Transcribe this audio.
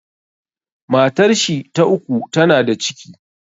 Matar shi ta uku ta na da ciki